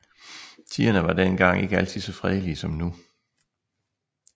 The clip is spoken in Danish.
Tiderne var den gang ikke altid så fredelige som nu